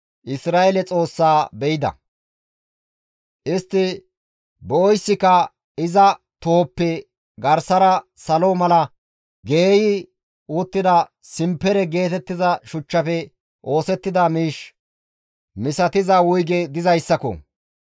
Isra7eele Xoossaa be7ida; istti be7oyssika iza tohoppe garsara salo mala geeyi uttida simpere geetettiza shuchchafe oosettida miish misatiza wuyge dizayssako.